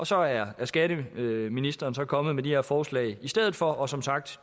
så er skatteministeren så kommet med de her forslag i stedet for og som sagt